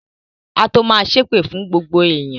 Á tó ma ṣépè fún gbogbo èèyàn